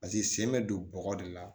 Paseke sen bɛ don bɔgɔ de la